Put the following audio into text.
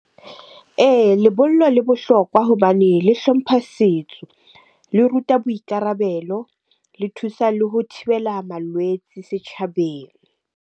Ee, lebollo le bohlokwa hobane le hlompha setso. Le ruta boikarabelo, le thusa le ho thibela malwetse setjhabeng.